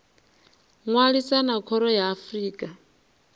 ṅwalisa na khoro ya afrika